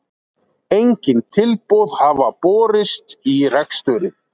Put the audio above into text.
Engin tilboð hafa borist í reksturinn